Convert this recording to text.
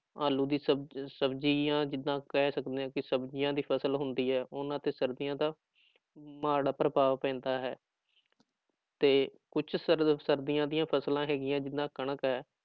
ਆਲੂ ਦੀ ਸਬਜ਼ ਸਬਜ਼ੀ ਜਾਂ ਜਿੱਦਾਂ ਕਹਿ ਸਕਦੇ ਹਾਂ ਕਿ ਸਬਜ਼ੀਆਂ ਦੀ ਫ਼ਸਲ ਹੁੰਦੀ ਹੈ ਉਹਨਾਂ ਤੇ ਸਰਦੀਆਂ ਦਾ ਮਾੜਾ ਪ੍ਰਭਾਵ ਪੈਂਦਾ ਹੈ ਤੇ ਕੁਛ ਸਰਦ ਸਰਦੀਆਂ ਦੀਆਂ ਫ਼ਸਲਾਂ ਹੈਗੀਆਂ ਜਿੱਦਾਂ ਕਣਕ ਹੈ